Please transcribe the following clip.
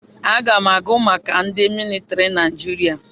Aga m agụ maka ndị militiri Naijiria.